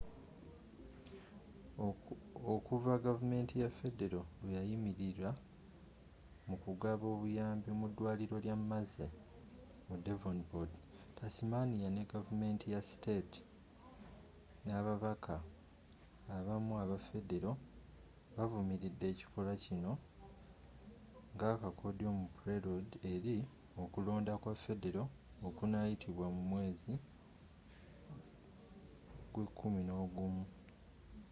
okuva gavumenti ya federo lweyayimirira mukugaba obuyambi mu dwaliro lya mersey mu devonport tasmania ne gavumenti ya state n'ababaka abamu aba federo bavumiride ekikolwa kino nga akakodyo mu prelude eri okulonda kwa federo okunayitibwa mu mwezi gw'ekuminogumu